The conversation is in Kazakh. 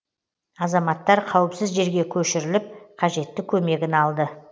азаматтар қауіпсіз жерге көшіріліп қажетті көмегін алды